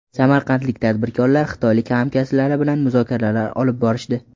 Samarqandlik tadbirkorlar xitoylik hamkasblari bilan muzokaralar olib borishdi.